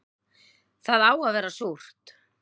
Það á að vera súrt